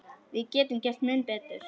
Við getum gert mun betur.